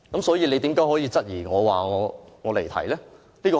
所以，為何主席質疑我，指我離題呢？